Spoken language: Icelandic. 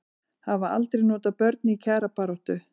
Það fer ekki hjá því að Kristján fari halloka í þessum hildarleik